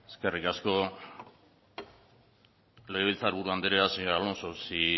eskerrik asko legebiltzar buru andrea señor alonso si